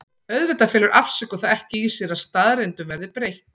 Auðvitað felur afsökun það ekki í sér að staðreyndum verði breytt.